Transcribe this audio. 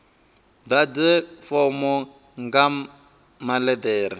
ḓadze fomo nga maḽe ḓere